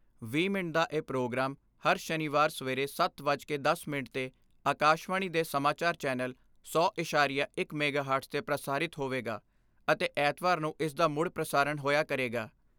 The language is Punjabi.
ਵੀਹ ਮਿੰਟ ਦਾ ਇਹ ਪ੍ਰੋਗਰਾਮ ਹਰ ਸ਼ਨੀਵਾਰ ਸਵੇਰੇ ਸੱਤ ਵੱਜ ਕੇ ਦਸ ਮਿੰਟ 'ਤੇ ਆਕਾਸ਼ਵਾਣੀ ਦੇ ਸਮਾਚਾਰ ਚੈਨਲ ਸੌ ਐਸਾਰੀਆ ਇੱਕ ਮੈਗਾਹਰਟਸ ਤੇ ਪ੍ਰਸਾਰਿਤ ਹੋਵੇਗਾ ਅਤੇ ਐਤਵਾਰ ਨੂੰ ਇਸ ਦਾ ਮੁੜ ਪ੍ਰਸਾਰਣ ਹੋਇਆ ਕਰੇਗਾ।